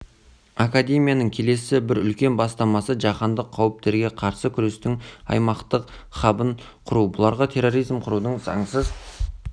академияның келесі бір үлкен бастамасы жаһандық қауіптерге қарсы күрестің аймақтық хабын құру бұларға терроризм қарудың заңсыз